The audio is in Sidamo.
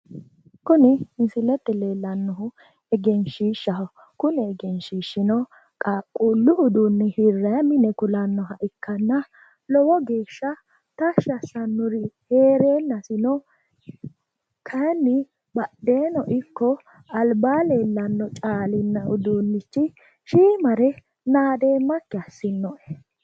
Kuni misilete leellannohu egenshiishshaho. Kuni egenshiishshino qaaqquullu uduunne hirrayi mine kulannoha ikkanna lowo geeshsha tashshi assannorino heereennasi kayinni badheeno ikko albaa leellanmo caalinna uduunnichi shiimare nadeemmakki assinnoe.